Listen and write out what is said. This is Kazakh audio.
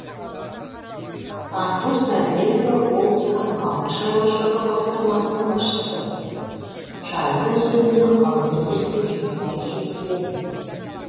артур сәдібекұлы облыстық балық шаруашылығы басқармасының басшысы жайық өзеніне ғылыми зерттеу жұмыстары жүргізіледі